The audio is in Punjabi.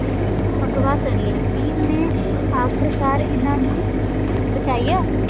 ਅਗਵਾ ਕਰ ਲਿਆ ਸੀ ਓਹਨੇ ਆਖ਼ਰ ਕਾਰ ਇੰਨਾ ਨੂੰ ਬਚਾਇਆ।